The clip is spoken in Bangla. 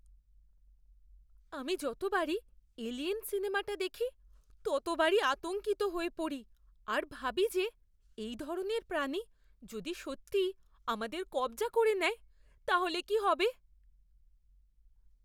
আমি যতবারই "এলিয়েন" সিনেমাটা দেখি, ততবারই আতঙ্কিত হয়ে পড়ি আর ভাবি যে এই ধরনের প্রাণী যদি সত্যিই আমাদের কব্জা করে নেয় তাহলে কি হবে!